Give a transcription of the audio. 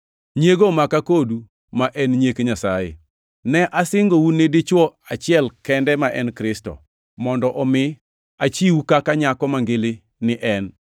Nyiego omaka kodu ma en nyiek Nyasaye. Ne asingou ni dichwo achiel kende, ma en Kristo, mondo omi achiwu kaka nyako mangili ni en.